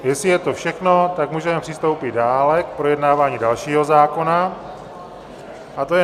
Jestli je to všechno, tak můžeme přistoupit dále, k projednávání dalšího zákona, a tím je